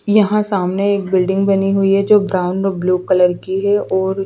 यहाँ सामने एक बिल्डिंग बनी हुई है जो ब्राउन और ब्लू कलर की है और--